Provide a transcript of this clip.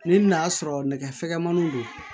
Ni n'a sɔrɔ nɛgɛ fɛgɛnmaniw don